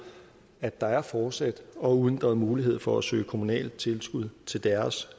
at der fortsat er uændret mulighed for at søge kommunalt tilskud til deres